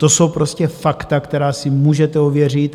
To jsou prostě fakta, která si můžete ověřit.